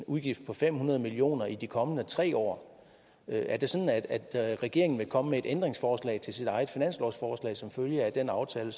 udgift på fem hundrede million kroner i de kommende tre år er det sådan at at regeringen vil komme med et ændringsforslag til sit eget finanslovsforslag som følge af den aftale